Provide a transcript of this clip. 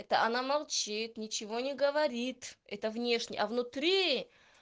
это она молчит ничего не говорит это внешне а внутри